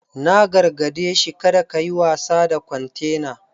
Na gargade shi 'Kada kayi wasa da kwantena!'